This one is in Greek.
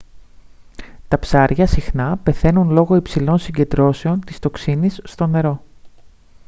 τα ψάρια συχνά πεθαίνουν λόγω υψηλών συγκεντρώσεων της τοξίνης στο νερό